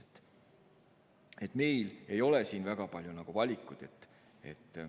Nii et meil ei ole siin väga palju valikuid.